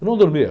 Eu não dormia.